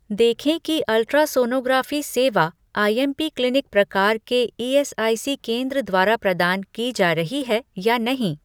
देखें कि अल्ट्रासोनोग्राफी सेवा आईएमपी क्लीनिक प्रकार के ईएसआईसी केंद्र द्वारा प्रदान की जा रही है या नहीं